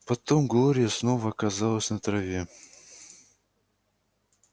потом глория снова оказалась на траве